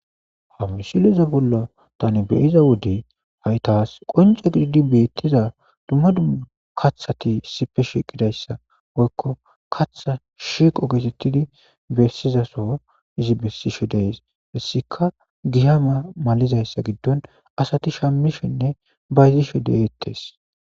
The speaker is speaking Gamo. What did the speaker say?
Ham misile liza bollo tani beyiza wodi haytaas qonje gididi beettiza dumma dumma kaththati sipe shiiqidayssa woykko katha shiqo geesettidi bessizaso izi bessishe deys hessika giyama malizayssa giddon asati shammishinne bayzishe deegettes.